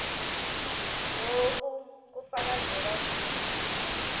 loku kufakazela kutsi